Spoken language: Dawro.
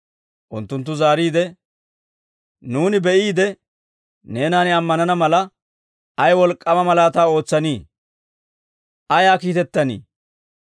Unttunttu zaariide, «Nuuni be'iide, neenan ammanana mala, ay wolk'k'aama malaataa ootsanii? Ayaa kiitettanii?